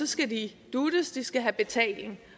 skal de duttes de skal have betaling